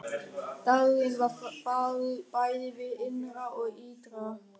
Dagurinn var fagur bæði hið innra og ytra.